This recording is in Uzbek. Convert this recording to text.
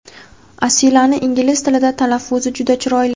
Asilani ingliz tilida talaffuzi juda chiroyli.